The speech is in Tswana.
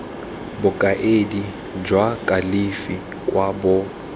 bokaedi jwa kalafi kwa bo